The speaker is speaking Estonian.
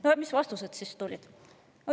No mis vastused siis tulid?